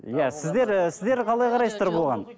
иә сіздер і сіздер қалай қарайсыздар бұған